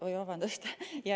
Oi, vabandust!